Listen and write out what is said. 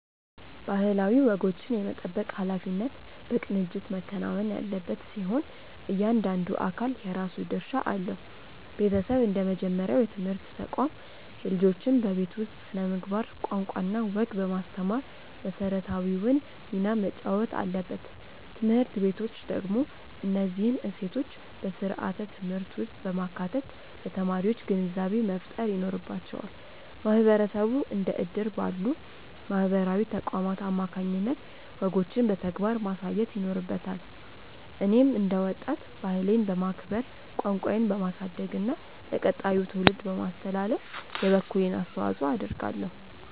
ባህላዊ ወጎችን የመጠበቅ ኃላፊነት በቅንጅት መከናወን ያለበት ሲሆን፣ እያንዳንዱ አካል የራሱ ድርሻ አለው። ቤተሰብ እንደ መጀመሪያው የትምህርት ተቋም፣ ልጆችን በቤት ውስጥ ስነ-ምግባር፣ ቋንቋና ወግ በማስተማር መሰረታዊውን ሚና መጫወት አለበት። ትምህርት ቤቶች ደግሞ እነዚህን እሴቶች በስርዓተ-ትምህርት ውስጥ በማካተት ለተማሪዎች ግንዛቤ መፍጠር ይኖርባቸዋል። ማህበረሰቡ እንደ እድር ባሉ ማህበራዊ ተቋማት አማካኝነት ወጎችን በተግባር ማሳየት ይኖርበታል። እኔም እንደ ወጣት፣ ባህሌን በማክበር፣ ቋንቋዬን በማሳደግና ለቀጣዩ ትውልድ በማስተላለፍ የበኩሌን አስተዋጽኦ አደርጋለሁ።